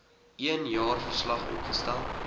een jaarverslag opgestel